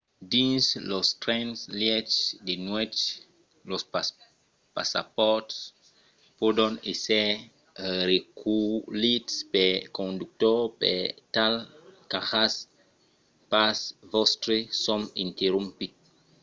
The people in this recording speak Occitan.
dins los trens-lièches de nuèch los passapòrts pòdon èsser reculhits pel conductor per tal qu'ajatz pas vòstre sòm interromput